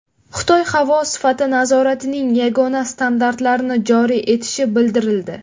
Xitoy havo sifati nazoratining yagona standartlarini joriy etishi bildirildi.